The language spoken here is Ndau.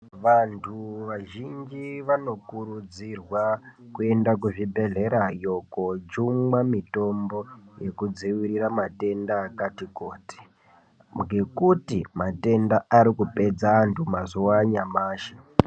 Vantu vazhinji vanokurudzirwa kuenda kuzvibhedhlerayo koojungwe mitombo yekudzivirira matenda akati kuti ngekuti matenda ari kupedza antu mazuwa anyamashi.